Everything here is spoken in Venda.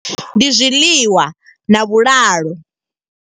Ndi zwiḽiwa na vhulalo.